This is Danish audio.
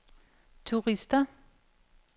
turister